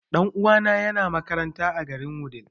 Ɗan uwana ya na makaranta a garin Wudil